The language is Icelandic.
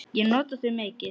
Ég nota þau mikið.